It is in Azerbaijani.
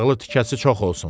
Yağlı tikəsi çox olsun.